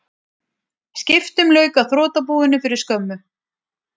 Skiptum lauk á þrotabúinu fyrir skömmu